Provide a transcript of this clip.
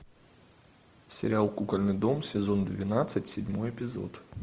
сериал кукольный дом сезон двенадцать седьмой эпизод